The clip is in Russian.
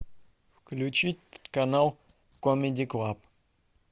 включить канал камеди клаб